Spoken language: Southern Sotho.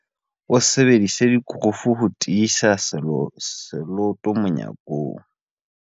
O sebedisitse dikurufu ho tiisa seloto monyakong.